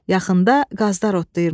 Yaxında qazlar otlayırmış.